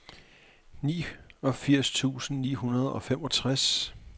niogfirs tusind ni hundrede og femogtres